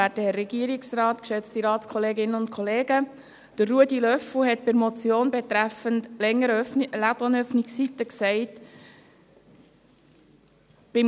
Ruedi Löffel hat bei der Motion betreffend längere Ladenöffnungszeiten gesagt: «